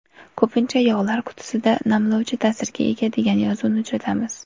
Ko‘pincha yog‘lar qutisida namlovchi ta’sirga ega degan yozuvni uchratamiz.